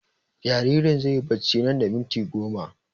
Jaririn zai yi barci nan da minti goma